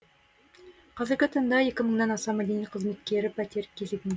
қазіргі таңда екі мыңнан аса мәдениет қызметкері пәтер кезегін